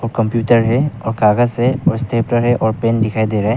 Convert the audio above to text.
Computer है और कागज से और स्टेपलर है और पेन दिखाई दे रहा है।